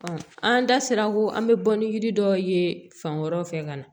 an da sera ko an bɛ bɔ ni yiri dɔw ye fan wɛrɛw fɛ ka na